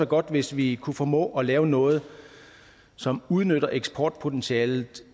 godt hvis vi kunne formå at lave noget som udnytter eksportpotentialet